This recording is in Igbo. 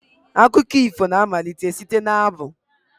Akụkọ ifo na-amalite site n'abụ.